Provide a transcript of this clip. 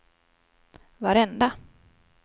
varenda